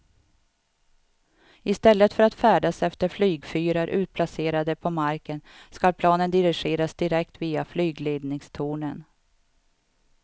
I stället för att färdas efter flygfyrar utplacerade på marken ska planen dirigeras direkt via flygledningstornen.